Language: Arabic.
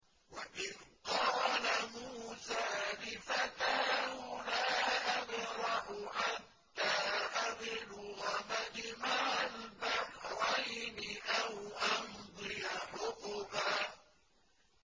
وَإِذْ قَالَ مُوسَىٰ لِفَتَاهُ لَا أَبْرَحُ حَتَّىٰ أَبْلُغَ مَجْمَعَ الْبَحْرَيْنِ أَوْ أَمْضِيَ حُقُبًا